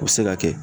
U bɛ se ka kɛ